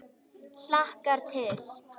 Hlakkar til.